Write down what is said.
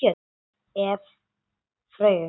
Ef. Freyju